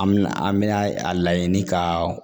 An me na an me na a laɲini ka